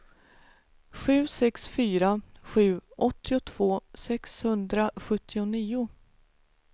sju sex fyra sju åttiotvå sexhundrasjuttionio